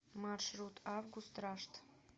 маршрут август рашт